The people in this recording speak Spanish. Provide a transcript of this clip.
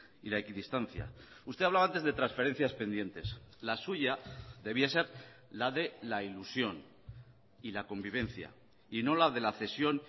y la equidistancia usted hablaba antes de transferencias pendientes la suya debía ser la de la ilusión y la convivencia y no la de la cesión